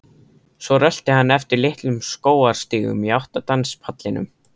Svo rölti hann eftir litlum skógarstígum í átt að danspallinum.